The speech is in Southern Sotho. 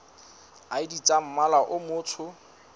id tsa mmala o motsho